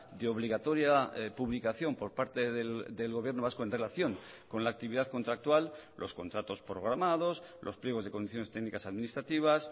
de obligatoria publicación por parte del gobierno vasco en relación con la actividad contractual los contratos programados los pliegos de condiciones técnicas administrativas